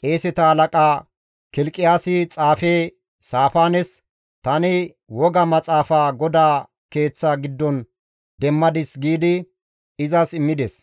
Qeeseta halaqa Kilqiyaasi xaafe Saafaanes, «Tani woga maxaafa GODAA keeththa giddon demmadis» giidi izas immides;